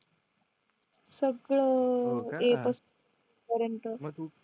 सगळं हो का पासून पर्यंत